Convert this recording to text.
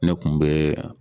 Ne kun be